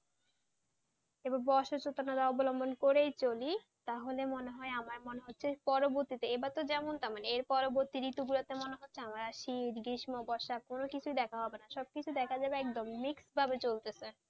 এভাবে অসচেতনতা অবলম্বন করেই চলি, তাহলে আমার মনে হয় আমার মনে হচ্ছে পরবর্তীতে এবারে তো যেমন তেমন এর পরবর্তী ঋতুগুলোতে মনে হচ্ছে আমার আর শীত গ্রীষ্ম বর্ষা কোন কিছুই দেখা হবে না সবকিছু একেবারে mixed ভাবে চলছে,